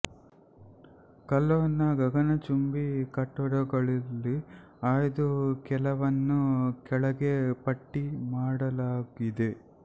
colon ನ ಗಗಗನಚುಂಬಿ ಕಟ್ಟಡಗಳಲ್ಲಿ ಆಯ್ದ ಕೆಲವನ್ನು ಕೆಳಗೆ ಪಟ್ಟಿ ಮಾಡಲಾಗಿದೆ